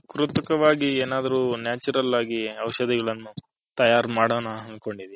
ಕೃತಕವಾಗಿ ಏನಾದ್ರು Natural ಆಗಿ ಔಷದಿಗಳನು ತಯಾರ್ ಮಾಡನ ಅಂಥ್ಕೊಂದಿನಿ.